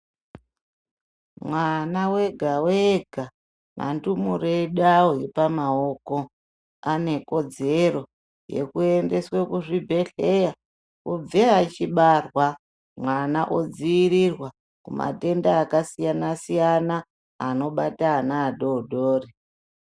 Mwana wega wega antumure edu awo epamaoko ane kodzero yekuendeswa kuzvibhedhlera kubva achibarwa mwana odzivirirwa matenda akasiyana siyana anobata ana adodori.